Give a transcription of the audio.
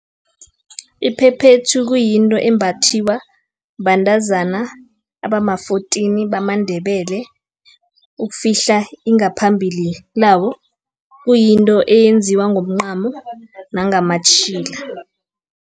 Iphephethu, kuyinto embathiwa, bantazana abama-fourteen bamaNdebele, ukufihla ingaphambili labo, kuyinto eyenziwa ngomncamo nangamatjhila.